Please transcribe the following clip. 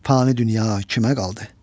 Fani dünya kimə qaldı?